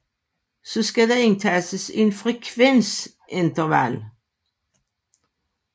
Så skal der indtastes et frekvensinterval